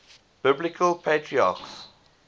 biblical patriarchs